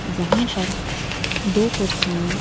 यहाँ पर दो कुर्सियां--